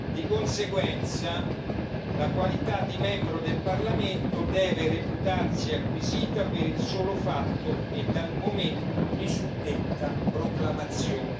Di conseguenza, la qualità di membro del Parlamento deve reputarsi acquisita per il solo fatto e dal momento di suddetta proclamazione.